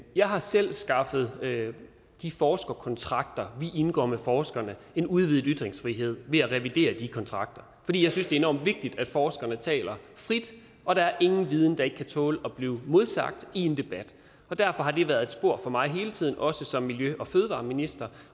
jeg har selv skaffet de forskerkontrakter vi indgår med forskerne en udvidet ytringsfrihed ved at revidere kontrakterne fordi jeg synes det er enormt vigtigt at forskerne taler frit og der er ingen viden der ikke kan tåle at blive modsagt i en debat derfor har det været et spor for mig hele tiden også som miljø og fødevareminister